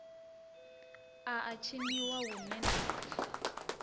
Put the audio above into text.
a a tshiniwa huṋwe na